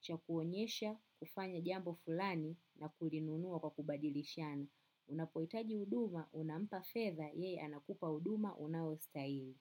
cha kuonyesha, kufanya jambo fulani na kulinunuwa kwa kubadilishana. Unapohitaji huduma, unampa fedha, yeye anakupa huduma, unaostahili.